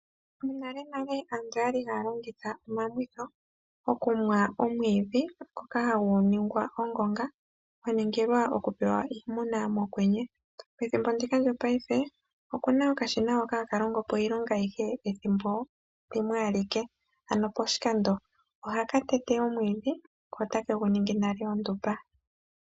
Monalenale aantu oyali haya longitha omumwitho mokumwa omwiidhi ngoka hagu ningwa ongonga gwa ningilwa okupewa iimuna mokwenye. Pethimbo ndika lyopayife okuna okashina haka longopo iilonga ayihe Pethimbo limwe alike ano poshilando . Ohaka tete omwiidhi ko ta kegu ningi nale ondumba.